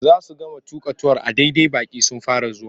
Za su gama tuƙa tuwon a daidai baƙi sun fara zuwa.